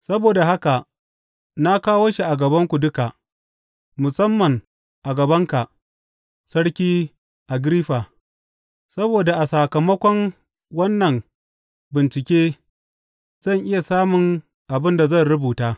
Saboda haka na kawo shi a gabanku duka, musamman a gabanka, Sarki Agiriffa, saboda a sakamakon wannan bincike zan iya samun abin da zan rubuta.